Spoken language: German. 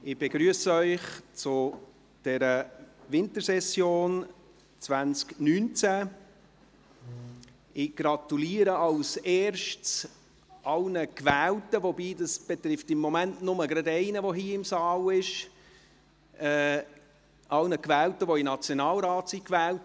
Ich begrüsse Sie zu dieser Wintersession 2019 und gratuliere zuerst allen in den Nationalrat Gewählten, wobei dies im Moment nur einen der hier im Saal Anwesenden betrifft.